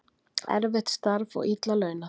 Erfitt starf og illa launað